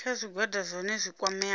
kha zwigwada zwohe zwi kwameaho